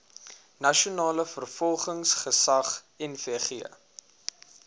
nasionale vervolgingsgesag nvg